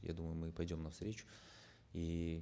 я думаю мы пойдем навстречу и